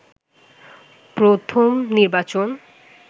প্রথম নির্বাচন